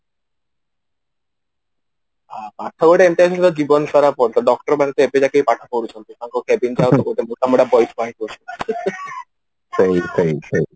ହଁ ପାଠ ଗୋଟେ ଏମିତିଆ କି ଜୀବନ ସାରା ପଢୁ ଥିବ doctor ମାନେ ବି ଏବେ ଜାକେ ପାଠ ପଢୁଛନ୍ତି କହିବି କହିବି କହିବି